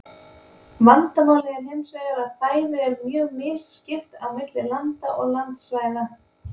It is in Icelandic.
Vandamálið er hins vegar að fæðu er mjög misskipt á milli landa og landsvæða.